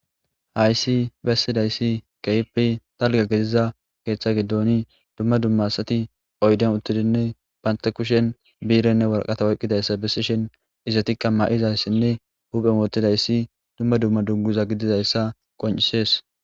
hayssi bessidayssi keipi talga gidiza keeththa giddooni dumma dumma asati oyden uttidinne banta kushen biirenne warqata oqqidayssa bessishin izatikka ma7izayssinne huphe mootidayssi dumma dumma dugguza gididayssa qoncisees